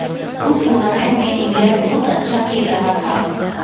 उस टूर्नामेंट में इंग्लैंड बहुत अच्छा खेल रहा था